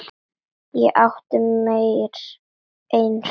Ég átti mér eitt sumar.